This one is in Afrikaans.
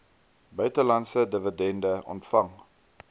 buitelandse dividende ontvang